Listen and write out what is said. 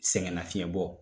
Sɛgɛnnafiɲɛbɔ